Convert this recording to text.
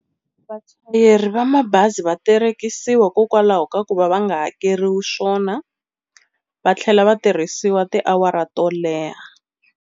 Vachayeri va mabazi va terekisiwa hikokwalaho ka ku va va nga hakeriwi swona va tlhela va tirhisiwa tiawara to leha.